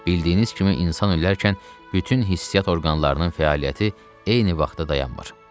Bildiyiniz kimi insan ölərkən bütün hissi orqanların fəaliyyəti eyni vaxtda dayanmır.